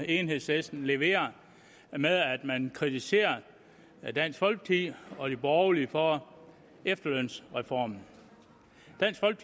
enhedslisten leverer med at man kritiserer dansk folkeparti og de borgerlige for efterlønsreformen